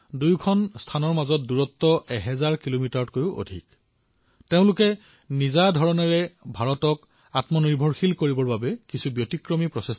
দুয়োটা এলেকাই প্ৰতিটোৰ পৰা শত কিলোমিটাৰ দূৰৈত আৰু নিজৰ ধৰণে ভাৰতক আত্মনিৰ্ভৰ কৰি তোলাৰ দিশত অগ্ৰসৰ হৈছে